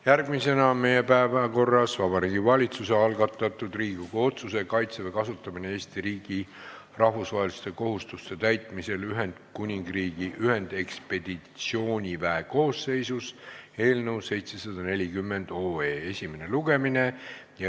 Järgmisena on meie päevakorras Vabariigi Valitsuse algatatud Riigikogu otsuse "Kaitseväe kasutamine Eesti riigi rahvusvaheliste kohustuste täitmisel Ühendkuningriigi ühendekspeditsiooniväe koosseisus" eelnõu 740 esimene lugemine.